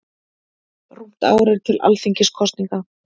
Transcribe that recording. Rúmt ár er til Alþingiskosninga.